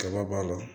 Kaba b'a la